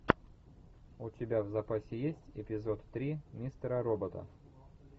у тебя в запасе есть эпизод три мистера робота